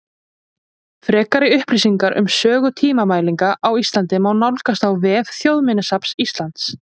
Frekari upplýsingar um sögu tímamælinga á Íslandi má nálgast á vef Þjóðminjasafns Íslands.